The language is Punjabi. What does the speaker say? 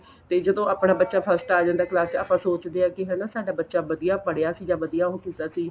ਤੇ ਜਦੋਂ ਆਪਣਾ ਬੱਚਾ first ਆ ਜਾਂਦਾ class ਚ ਆਪਾਂ ਸੋਚਦੇ ਆ ਕੀ ਹਨਾ ਸਾਡਾ ਬੱਚਾ ਵਧੀਆ ਪੜਿਆ ਸੀ ਜਾਂ ਵਧੀਆ ਉਹ ਕੀਤਾ ਸੀ